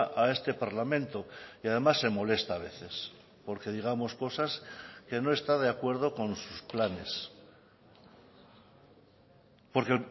a este parlamento y además se molesta a veces porque digamos cosas que no está de acuerdo con sus planes porque